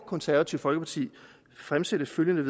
konservative folkeparti fremsætte følgende